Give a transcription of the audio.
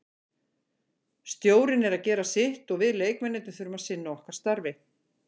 Stjórinn er að gera sitt og við leikmennirnir þurfum að sinna okkar starfi.